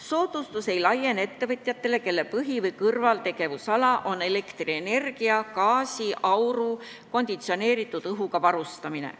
Soodustus ei laiene ettevõtjatele, kelle põhi- või kõrvaltegevusala on elektrienergia, gaasi, auru või konditsioneeritud õhuga varustamine.